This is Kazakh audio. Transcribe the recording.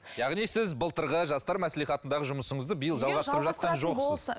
яғни сіз былтырғы жастар маслихатындағы жұмысыңызды биыл жалғастырып жатқан жоқсыз